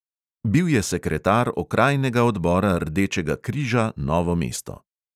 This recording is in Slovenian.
Bil je sekretar okrajnega odbora rdečega križa novo mesto.